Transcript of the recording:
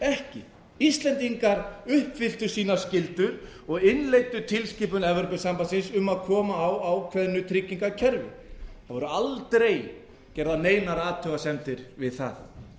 ekki íslendingar uppfylltu sínar skyldur og innleiddu tilskipun evrópusambandsins um að koma á ákveðnu tryggingakerfi það voru aldrei gerðar neinar athugasemdir við það